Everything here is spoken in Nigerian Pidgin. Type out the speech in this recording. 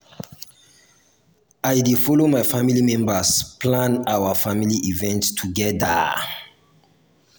na my duty to make sure sey i at ten d all my family event.